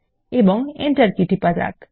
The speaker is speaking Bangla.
এবং এন্টার কী টিপুন